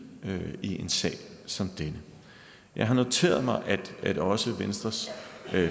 i en sag som denne jeg har noteret mig at også venstres